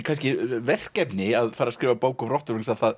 verkefni að fara að skrifa bók um rottur